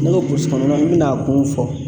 N'i ko kɔnɔna n bi n'a kun fɔ